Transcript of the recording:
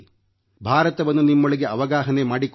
ಭಾರತವನ್ನು ನಿಮ್ಮೊಳಗೆ ಅವಗಾಹನೆ ಮಾಡಿಕೊಳ್ಳಿರಿ